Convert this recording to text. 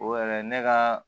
O yɛrɛ ne ka